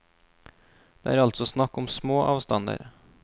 Det er altså snakk om små avstander.